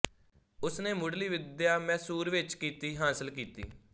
ਉਸਨੇ ਮੁਢਲੀ ਵਿਦਿਆ ਮੈਸੂਰ ਵਿੱਚ ਕੀਤੀ ਹਾਸਲ ਕੀਤੀ